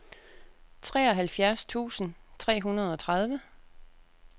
treoghalvfjerds tusind tre hundrede og tredive